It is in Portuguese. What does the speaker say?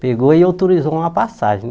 Pegou e autorizou uma passagem né.